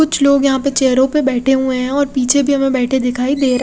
कुछ लोग यहाँ पे चेयरो पे बेठे हुए है और पीछे भी हमे बेठे दिखाई दे रहे--